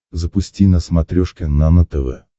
запусти на смотрешке нано тв